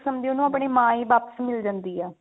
ਸਮਝੋ ਉਹਨੂੰ ਮਾਂ ਹੀ ਵਾਪਿਸ ਮਿਲ ਜਾਂਦੀ ਆ